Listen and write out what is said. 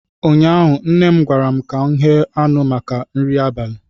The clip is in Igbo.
ụnyaahụ nne m gwara m ka m ghe anụ maka nri abalị